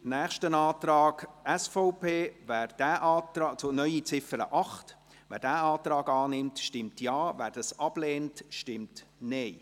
Zum nächsten Antrag SVP auf eine neue Ziffer 8: Wer diesen Antrag annimmt, stimmt Ja, wer dies ablehnt, stimmt Nein.